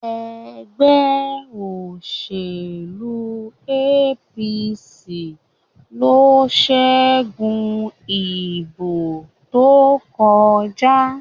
ègbé òṣèlú APC ló ṣẹgun ìbò tó kọjá